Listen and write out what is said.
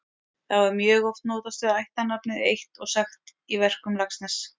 Þá er mjög oft notast við ættarnafnið eitt og sagt í verkum Laxness.